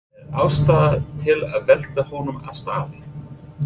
Er ástæða til að velta honum af stalli?